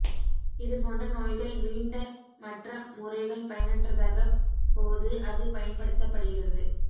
இதுபோன்ற நோய்கள் மீண்ட மற்ற முறைகள் பயனற்றதாக போது அது பயன்படுத்தப்படுகிறது